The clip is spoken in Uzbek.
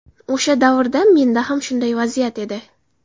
O‘sha davrda menda ham shunday vaziyat edi.